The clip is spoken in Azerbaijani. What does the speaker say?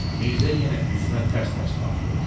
Mirzə yenə üzümə tərs-tərs baxdı.